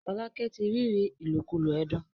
Folake tí ríri ilokulo ẹdun.